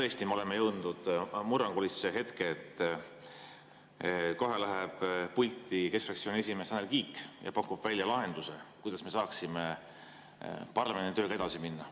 Tõesti, me oleme jõudnud murrangulisse hetke, kohe läheb pulti keskfraktsiooni esimees Tanel Kiik ja pakub välja lahenduse, kuidas me saaksime paremini tööga edasi minna.